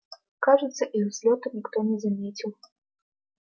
кажется их взлёта никто не заметил